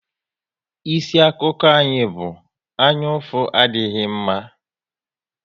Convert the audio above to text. Isi akụkọ anyị bụ "Anyaụfụ adịghị mma"